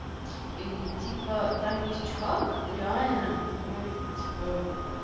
и типа там есть чувак реально ну он типа